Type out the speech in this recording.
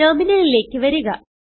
ടെർമിനലിലേക്ക് വരിക